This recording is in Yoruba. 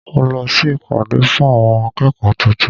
Mo lọ sí ìpàdé fún àwọn akẹ́kọ̀ọ́ tuntun.